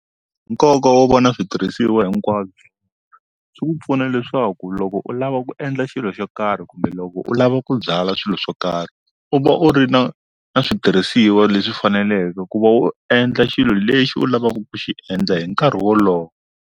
Nkoka wo va na switirhisiwa hinkwabyo swi ku pfuna leswaku loko u lava ku endla xilo xo karhi kumbe loko u lava ku byala swilo swo karhi u va u ri na na switirhisiwa leswi faneleke ku va u endla xilo lexi u lavaka ku xi endla hi nkarhi wolowo.